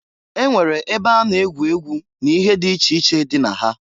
E nwere ebe a na-egwu egwu na ihe di iche iche dị na ha.